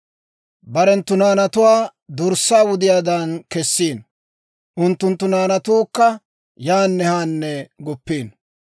Barenttu naanatuwaa dorssaa wudiyaadan kessiino; unttunttu naanatuukka yaan haan guppiino.